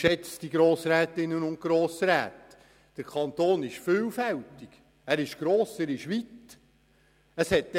Geschätzte Grossrätinnen und Grossräte: Der Kanton ist vielfältig, er ist gross, er ist weit.